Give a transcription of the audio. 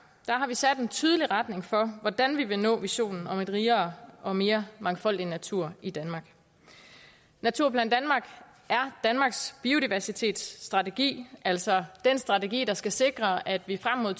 sat en tydelig retning for hvordan vi vil nå visionen om en rigere og mere mangfoldig natur i danmark naturplan danmark er danmarks biodiversitetsstrategi altså den strategi der skal sikre at vi frem mod